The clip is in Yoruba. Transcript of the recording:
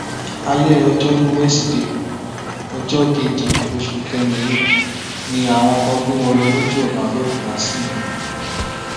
alẹ ọjọrùú wẹsídẹẹ ọjọ keje oṣù kẹrin yìí ni àwọn kan gbé wọn lọ lójú ọnà àbẹọkútà sìmẹkọ